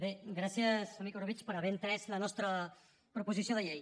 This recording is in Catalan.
bé gràcies amic orobitg per haver entès la nostra proposició de llei